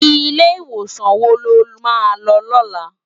Ilé Iwósan wó ló má lò lòlá?